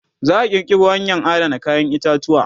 za'a kirkiro hanyan Adana kayan itatuwa